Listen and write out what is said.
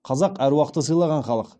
қазақ әруақты сыйлаған халық